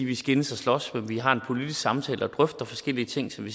vi skændes og slås men vi har en politisk samtale og drøfter forskellige ting som vi